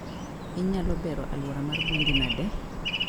Inyalo bero aluora mar gwendi nade?